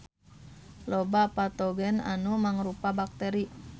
Loba patogen anu mangrupa bakteri.